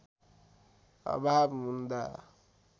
अभाव हुँदा